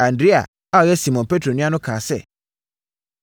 Andrea a ɔyɛ Simon Petro nua no kaa sɛ,